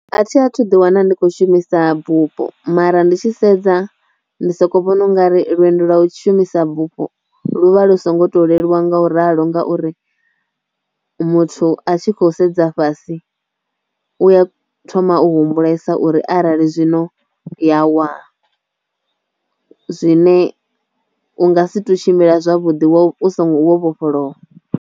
A thi a thu ḓi wana ndi kho shumisa bupho mara ndi tshi sedza ndi soko vhona u nga ri lwendo lwa u tshi shumisa bufho lu vha lu songo to leluwa nga u ralo ngauri muthu a tshi khou sedza dza fhasi u ya thoma u humbulesa uri arali zwino ya wa zwi ne u nga si to tshimbila zwavhuḓi wo uso wo vhofholowa.